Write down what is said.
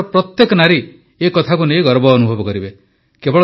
ଦେଶର ପ୍ରତ୍ୟେକ ନାରୀ ଏ କଥାକୁ ନେଇ ଗର୍ବ ଅନୁଭବ କରିବେ